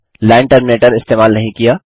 line terminator इस्तेमाल नहीं किया